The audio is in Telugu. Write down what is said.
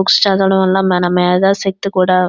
పుస్తకాలు చదవడం వల్ల మధ శక్తి--